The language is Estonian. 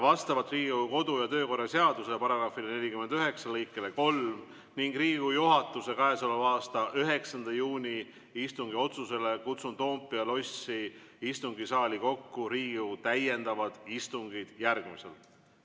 Vastavalt Riigikogu kodu- ja töökorra seaduse § 49 lõikele 3 ning Riigikogu juhatuse k.a 9. juuni istungi otsusele kutsun Toompea lossi istungisaali kokku Riigikogu täiendavad istungid järgmiselt.